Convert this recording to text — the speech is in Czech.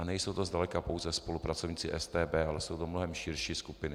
A nejsou to zdaleka pouze spolupracovníci StB, ale jsou to mnohem širší skupiny.